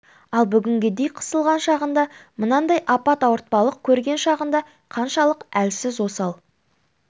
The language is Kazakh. ал бүгінгідей қысылған шағында мынандай апат ауыртпалық көрген шағында қаншалық әлсіз осал